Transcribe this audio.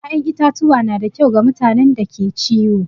ya'yan itatuwa na da kyau ga mutanen da ke ciwo.